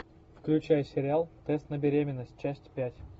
включай сериал тест на беременность часть пять